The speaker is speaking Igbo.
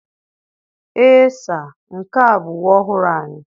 Ee saa, nke a bụ uwe ọhụrụ anyị.